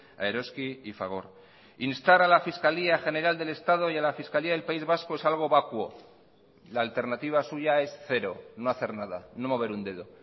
a eroski y fagor instar a la fiscalía general del estado y a la fiscalía del país vasco es algo vacuo la alternativa suya es cero no hacer nada no mover un dedo